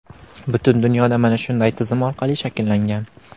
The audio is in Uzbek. Butun dunyoda mana shunday tizim orqali shakllangan.